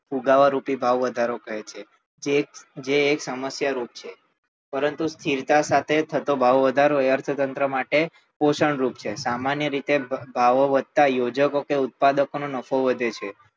ફુગાવારૂપી ભાવ વધારો કહે છે જે એક સમસ્યારૂપ છે પરંતુ સ્થિરતા સાથે થતો ભાવ વધારો એ અર્થતંત્ર માટે પોષણરૂપ છે સામાન્ય રીતે ભાવો વધતાં યોજકો કે ઉત્પાદકો નો નફો વધે છે